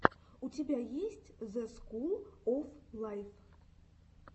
у тебя есть зе скул оф лайф